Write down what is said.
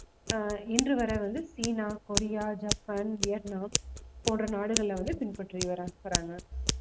ஆஹ் இன்று வரை வந்து சீனா, கொரியா, ஜப்பான், வியட்நாம், போன்ற நாடுகள்ல வந்து பின்பற்றி வர்றா~ வர்றாங்க